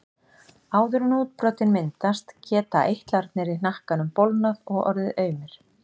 Áður en útbrotin myndast geta eitlarnir í hnakkanum bólgnað og orðið aumir.